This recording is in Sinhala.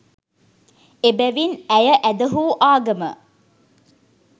එබැවින් ඇය ඇදහූ ආගම